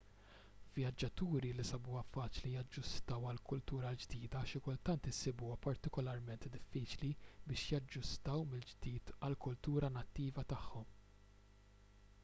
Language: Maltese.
vjaġġaturi li sabuha faċli jaġġustaw għall-kultura l-ġdida xi kultant isibuha partikularment diffiċli biex jaġġustaw mill-ġdid għall-kultura nattiva tagħhom